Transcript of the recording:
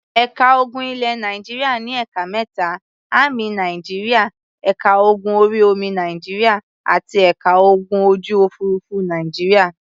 Ẹ̀ka ogun ilẹ̀ Nàìjíríà ní ẹ̀ka mẹ́ta; Ámì Nàìjíríà, ẹ̀ka ogun orí-omi Nàìjíríà àti ẹ̀ka ogun ojú-òfurufú Nàìjíríà.